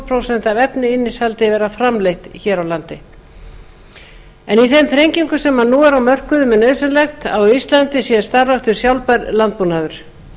prósent af efnisinnihaldi vera framleitt hér á landi í þeim þrengingum sem nú eru á mörkuðum er nauðsynlegt að á íslandi sé starfræktur sjálfbær landbúnaður